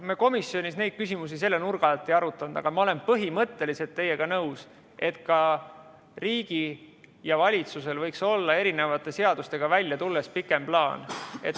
Me komisjonis neid küsimusi selle nurga alt ei arutanud, aga ma olen põhimõtteliselt teiega nõus, et riigil ja valitsusel võiks olla erinevate seadustega välja tulles pikem plaan.